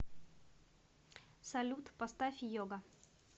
салют поставь йога